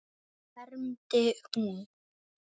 hermdi hún.